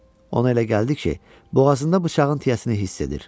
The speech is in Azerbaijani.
Ona elə gəldi ki, boğazında bıçağın tiyəsini hiss edir.